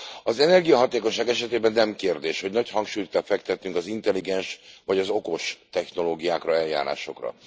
Az energiahatékonyság esetében nem kérdés, hogy nagy hangsúlyt kell fektetnünk az intelligens vagy az okos technológiákra, eljárásokra.